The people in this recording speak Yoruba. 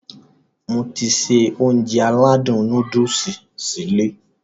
Mo ti se Ounjẹ aládùn nóódùsì sí ilé